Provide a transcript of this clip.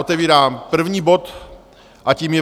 Otevírám první bod a tím je